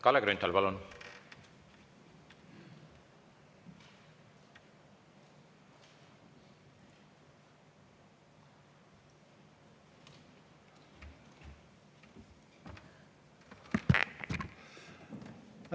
Kalle Grünthal, palun!